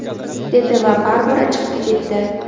dedi va baribir chiqib ketdi.